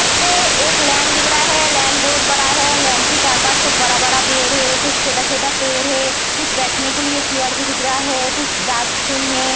इधर पे एक लैंड दिख रहा है। लैंड बहोत बड़ा हैं। लैंड के चार पास कुछ बड़ा-बड़ा पेड़ है। कुछ छोटा-छोटा पेड़ है। कुछ बेठने के लिए चेयर भी दिख रहा हैं। कुछ डस्टबिन है।